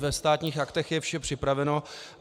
Ve Státních aktech je vše připraveno.